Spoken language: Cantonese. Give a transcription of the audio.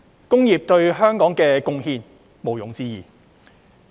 工業對香港的貢獻毋庸置疑。